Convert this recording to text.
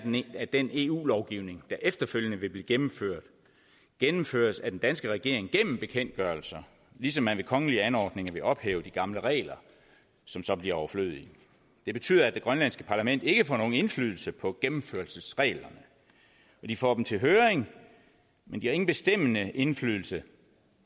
at den eu lovgivning der efterfølgende vil blive gennemført gennemføres af den danske regering gennem bekendtgørelser ligesom man ved kongelige anordninger vil ophæve de gamle regler som så bliver overflødige det betyder at det grønlandske parlament ikke får nogen indflydelse på gennemførelsesreglerne de får dem til høring men de har ingen bestemmende indflydelse